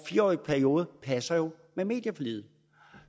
fire årig periode passer jo med medieforliget